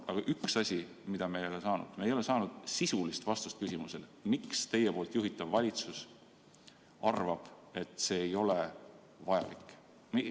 Aga on üks asi, mida me ei ole saanud: me ei ole saanud sisulist vastust küsimusele, miks teie juhitav valitsus arvab, et see ei ole vajalik.